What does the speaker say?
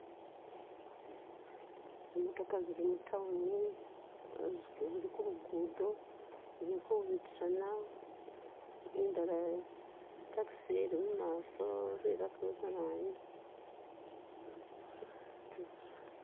Zimotoka zili mutawuni zili kulugudo zilikubitisana indala itaxi ili mumaso bilako kanayu